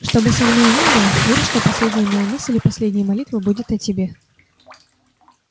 что бы со мною ни было верь что последняя моя мысль и последняя молитва будет о тебе